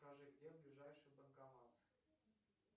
скажи где ближайший банкомат